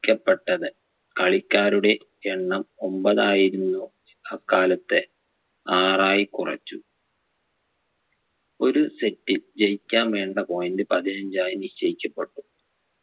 ക്കപ്പെട്ടത് കളിക്കാരുടെ എണ്ണം ഒമ്പതായിരുന്നു അക്കാലത്ത് ആറായി കുറച്ചു ഒരു set ൽ ജയിക്കാൻ വേണ്ട point പതിനഞ്ചായി നിശ്ചയിക്കപ്പെട്ടു